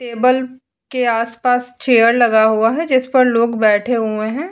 Table के आसपास chair लगा हुआ है जिस पर लोग बैठे हुए हैं।